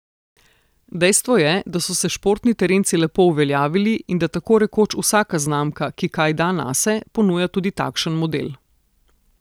Dejstvo je, da so se športni terenci lepo uveljavili in da tako rekoč vsaka znamka, ki kaj da nase, ponuja tudi takšen model.